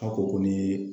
Aw ko ko ni